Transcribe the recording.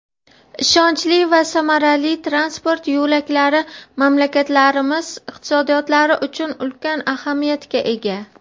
Ishonchli va samarali transport yo‘laklari mamlakatlarimiz iqtisodiyotlari uchun ulkan ahamiyatga ega.